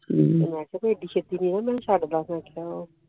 ਠੀਕ ਮੇਂ ਕਹਾ ਚੈਤੀ ਚੈਤੀ ਮੇਂ ਚਡ ਲਾ